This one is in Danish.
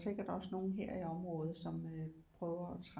Sikkert også nogen her i området som øh prøver at